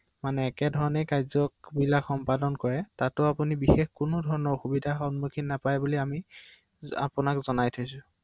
হয় হয়